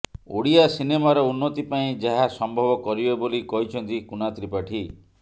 ଓଡ଼ିଆ ସିନେମାର ଉନ୍ନତି ପାଇଁ ଯାହା ସମ୍ଭବ କରିବେ ବୋଲି କହିଛନ୍ତି କୁନା ତ୍ରିପାଠୀ